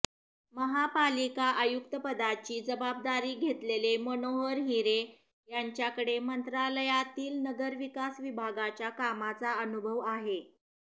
महापालिका आयुक्तपदाची जबाबदारी घेतलेले मनोहर हिरे यांच्याकडे मंत्रालयातील नगरविकास विभागाच्या कामाचा अनुभव आहे